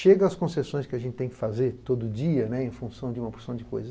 Chegam as concessões que a gente tem que fazer todo dia em função de uma porção de coisas.